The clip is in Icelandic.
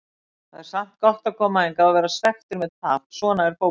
Það er samt gott að koma hingað og vera svekktur með tap, svona er fótboltinn.